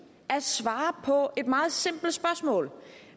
at svare på et meget simpelt spørgsmål